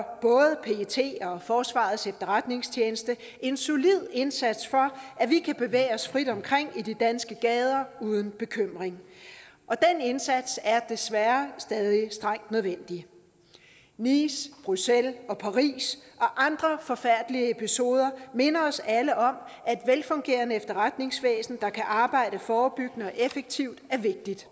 forsvarets efterretningstjeneste en solid indsats for at vi kan bevæge os frit omkring i de danske gader uden bekymring og den indsats er desværre stadig strengt nødvendig nice bruxelles og paris og andre forfærdelige episoder minder os alle om at et velfungerende efterretningsvæsen der kan arbejde forebyggende og effektivt er vigtigt